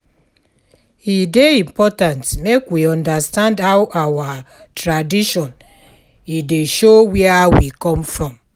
E dey important make we understand how our tradition, e dey show where we come from.